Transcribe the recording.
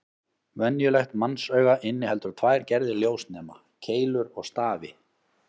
Venjulegt mannsauga inniheldur tvær gerðir ljósnema: Keilur og stafi.